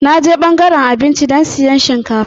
Na je ɓangaren abinci don siyan shinkafa.